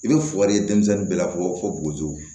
I bɛ foli denmisɛnnin bɛɛ lafɔ fo bugu